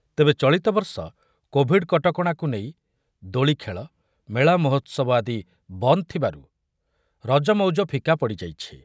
ତେବେ ଚଳିତ ବର୍ଷ କୋଭିଡ୍ କଟକଣାକୁ ନେଇ ଦୋଳିଖେଳ, ମେଳା ମହୋତ୍ସବ ଆଦି ବନ୍ଦ୍ ଥିବାରୁ ରଜ ମଉଜ ଫିକା ପଡ଼ିଯାଇଛି ।